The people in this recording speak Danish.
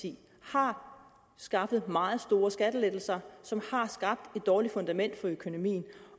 har skaffet meget store skattelettelser som har skabt et dårligt fundament for økonomien